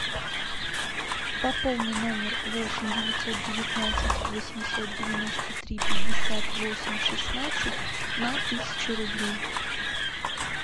пополни номер восемь девятьсот девятнадцать восемьсот девяносто три пятьдесят восемь шестнадцать на тысячу рублей